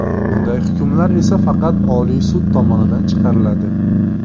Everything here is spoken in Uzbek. Bunday hukmlar esa faqat Oliy sud tomonidan chiqariladi.